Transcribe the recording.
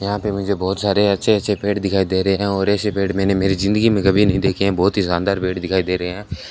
यहां पे मुझे बहुत सारे अच्छे अच्छे पेड़ दिखाई दे रहे हैं और ऐसे पेड़ मैंने मेरी जिंदगी में कभी नहीं देखे हैं बहुत ही शानदार दिखाई दे रहे हैं।